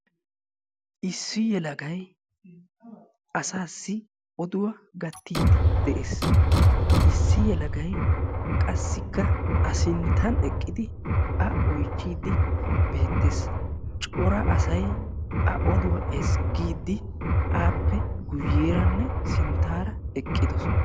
Issi yeleagay asassi oduwaa gatide de'ees; issi yelagay qassikka a sinttan eqqidi a oychcidi beettees; cora asay a oduwaa ezggidi appe guyyeranne sinttara eqqidoosona.